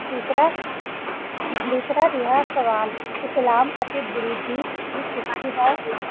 ਡਾਸਰ ਰਹਾ ਸਵਾਲ ਇਸਲਾਮ ਅਸੀਂ ਗੁਰੋ ਗੀ ਦੀ ਸਵਾ ਵਾਸਤਾ ਕਰਨਾ ਆ